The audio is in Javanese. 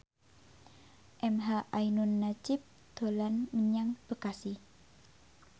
emha ainun nadjib dolan menyang Bekasi